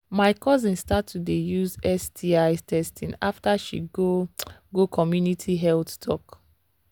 my cousin start to dey use sti testing after she go go community health talk